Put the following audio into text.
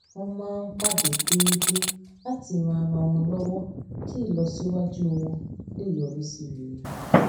wón máa ń pàdé déédéé láti ran ara wọn lówó kí ìlọsíwájú wọn lè yọrí sí rere